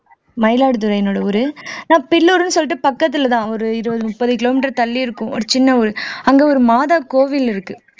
மயிலாடுதுறையினுடைய ஊரு நான் பில்லூருன்னு சொல்லிட்டு பக்கத்துலதான் ஒரு இருபது முப்பது kilometer தள்ளி இருக்கும் ஒரு சின்ன ஊர் அங்க ஒரு மாதா கோவில் இருக்கு